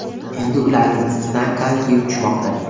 Endi ularning ustida konki uchishmoqda.